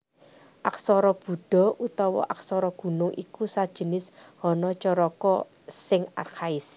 Aksara Buda utawa Aksara Gunung iku sajinis Hanacaraka sing arkhais